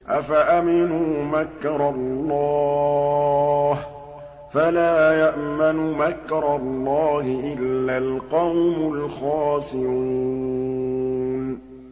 أَفَأَمِنُوا مَكْرَ اللَّهِ ۚ فَلَا يَأْمَنُ مَكْرَ اللَّهِ إِلَّا الْقَوْمُ الْخَاسِرُونَ